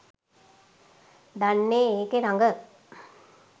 දන්නේ ඒකේ රඟ.